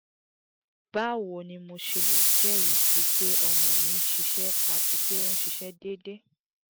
bawo ni mo ṣe le jẹrisi pe ọmọ mi nṣiṣẹ ati pe onse deede?